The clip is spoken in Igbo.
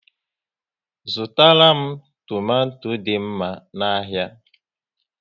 Zụtara m tomato dị mma n'ahia